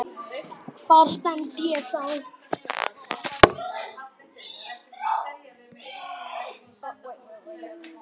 Hvar stend ég þá?